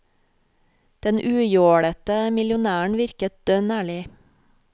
Den ujålete millionæren virker dønn ærlig.